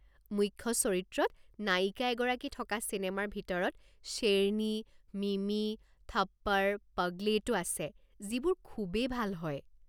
মুখ্য চৰিত্ৰত নায়িকা এগৰাকী থকা চিনেমাৰ ভিতৰত শ্বেৰনি, মিমি, থপ্পড়, পগলেইট-ও আছে যিবোৰ খুবেই ভাল হয়।